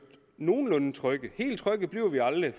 nogenlunde trygge vi bliver aldrig